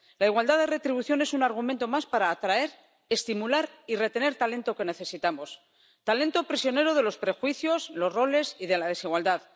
La igualdad de retribución es un argumento más para atraer, estimular y retener talento que necesitamos talento prisionero de los prejuicios, los roles y la desigualdad.